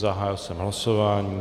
Zahájil jsem hlasování.